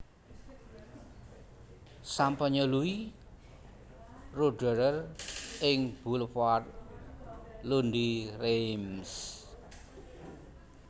Sampanye Louis Roederer ing boulevard Lundy Reims